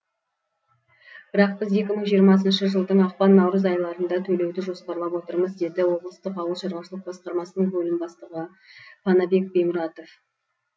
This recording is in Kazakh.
бірақ біз екі мың жиырмасыншы жылдың ақпан наурыз айларында төлеуді жоспарлап отырмыз деді облыстық ауылшаруашылық басқармасының бөлім бастығы панабек бимұратов